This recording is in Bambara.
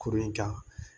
Kurun in ka